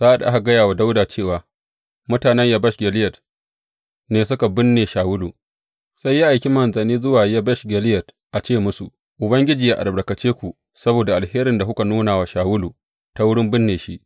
Sa’ad da aka gaya wa Dawuda cewa mutanen Yabesh Gileyad ne suka binne Shawulu, sai ya aiki manzanni zuwa Yabesh Gileyad a ce musu, Ubangiji yă albarkace ku saboda alherin da kuka nuna wa Shawulu ta wurin binne shi.